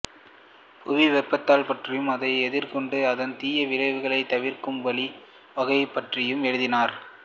புவி வெப்பமாதல் பற்றியும் அதை எதிர்கொண்டு அதன் தீய விளைவுகளைத் தவிர்க்கும் வழி வகைகள் பற்றியும் எழுதினார்